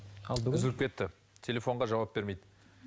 үзіліп кетті телефонға жауап бермейді